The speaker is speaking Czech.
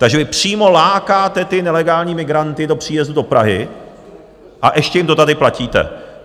Takže vy přímo lákáte ty nelegální migranty k příjezdu do Prahy, a ještě jim to tady platíte.